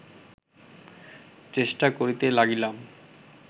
চেষ্টা করিতে লাগিলাম